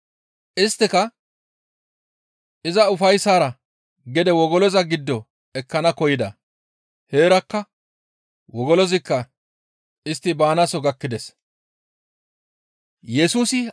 Isttika iza ufayssara gede wogoloza giddo ekkana koyida. Heerakka wogolozikka istti baanaaso gakkides.